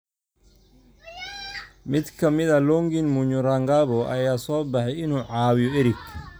Mid ka mid ah, Longin Munyurangabo, ayaa u soo baxay inuu caawiyo Eric.